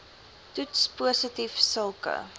toets positief sulke